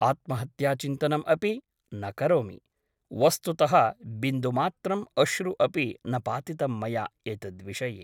आत्महत्याचिन्तनम् अपि न करोमि । वस्तुतः बिन्दुमात्रम् अश्रु अपि न पातितं मया एतद्विषये ।